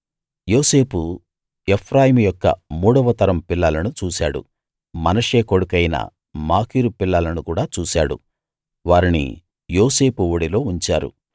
యోసేపు ఎఫ్రాయిము యొక్క మూడవ తరం పిల్లలను చూశాడు మనష్షే కొడుకయిన మాకీరు పిల్లలను కూడా చూశాడు వారిని యోసేపు ఒడిలో ఉంచారు